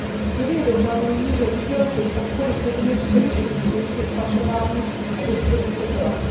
Studie dokladují, že výdělky z obchodu s lidmi převyšují zisky z pašování a distribuce drog.